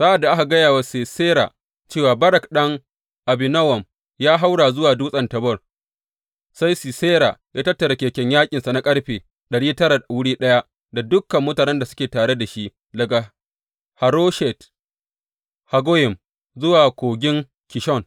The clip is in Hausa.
Sa’ad da aka gaya wa Sisera cewa Barak ɗan Abinowam ya haura zuwa dutsen Tabor, sai Sisera ya tattara keken yaƙinsa na ƙarfe ɗari tara wuri ɗaya da dukan mutanen da suke tare da shi daga Haroshet Haggoyim zuwa Kogin Kishon.